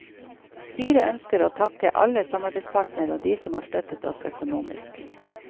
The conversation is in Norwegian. Styret ønsker å takke alle samarbeidspartnere og de som har støttet oss økonomisk.